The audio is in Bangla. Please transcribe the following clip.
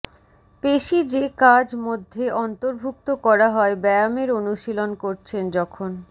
পেশী যে কাজ মধ্যে অন্তর্ভুক্ত করা হয় ব্যায়ামের অনুশীলন করছেন যখন